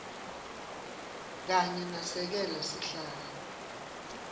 kanye nasekela sihlalo